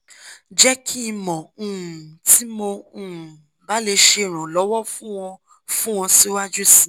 jẹ ki n mọ um ti mo um ba le ṣe iranlọwọ fun ọ fun ọ siwaju sii